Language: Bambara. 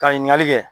Ka ɲininkali kɛ